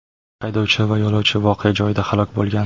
Haydovchi va yo‘lovchi voqea joyida halok bo‘lgan.